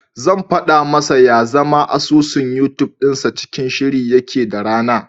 Zan faɗa masa ya zama asusun Yutub dinsa cikin shiri yake da rana.